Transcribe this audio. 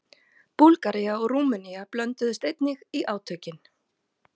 Búlgaría og Rúmenía blönduðust einnig í átökin.